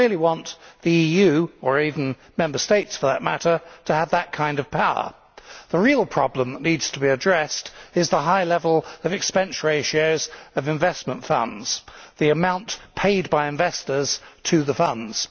Do we really want the EU or even Member States for that matter to have that kind of power? The real problem which needs to be addressed is the high level of expense ratios of investment funds the amount paid by investors to the funds.